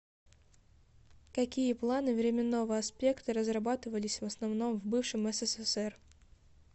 какие планы временного аспекта разрабатывались в основном в бывшем ссср